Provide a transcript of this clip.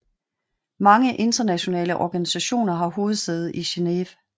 Mange internationale organisationer har hovedsæde i Geneve